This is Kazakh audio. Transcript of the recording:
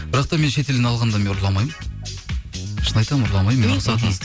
бірақ та мен шетелден алғанда мен ұрламаймын шын айтамын ұрламаймын